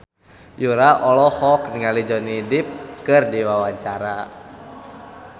Yura olohok ningali Johnny Depp keur diwawancara